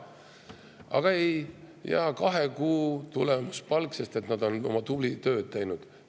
Aga ei, kahe kuu tulemuspalk, sest nad on tublit tööd teinud.